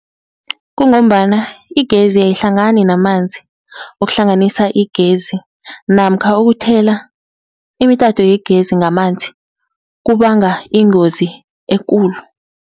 Kungombana igezi ayihlangani namanzi, ukuhlanganisa igezi namkha ukuthela imitato wegezi ngamanzi kubanga ingozi ekulu.